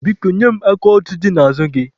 Biko, nye m aka odo dị n'azụ gị.